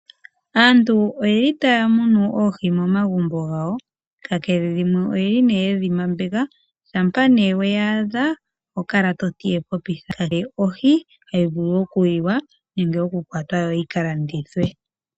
Aantu oyeli taya munu oohi momagumbo gawo kakele dhimwe oyeli nee yedhimambeka shampa nee weya adha oho kala toti ohi hayi vulu okuliwa nenge okukwata yo yikalandithwe.